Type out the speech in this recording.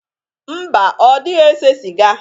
Mba, ọ dịghị ese sịga.